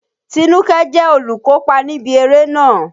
Tinúkẹ́ jẹ́ olùkópa níbi eré náà.